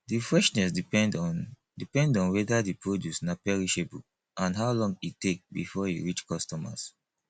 the freshness depend on depend on weda di produce na perishable and how long e take before e reach customers